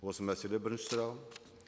осы мәселе бірінші сұрағым